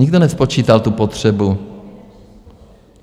Nikdo nespočítal tu potřebu.